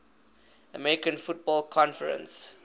american football conference